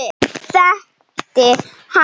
Þau þekkti hann.